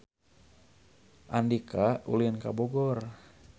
Andika ulin ka Bogor